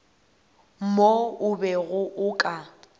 mo o bego o ka